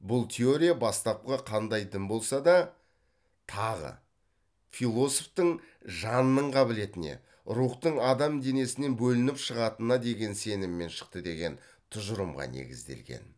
бұл теория бастапқы қандай дін болса да тағы философтың жанның қабілетіне рухтың адам денесінен бөлініп шығатынына деген сенімнен шықты деген тұжырымға негізделген